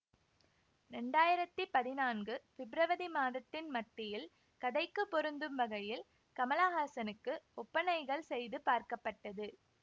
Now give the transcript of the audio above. இரண்டாயிரத்தி பதினான்கு பிப்ரவரி மாதத்தின் மத்தியில் கதைக்குப் பொருந்தும் வகையில் கமலஹாசனுக்கு ஒப்பனைகள் செய்து பார்க்கப்பட்டது